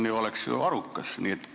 See oleks ju arukas.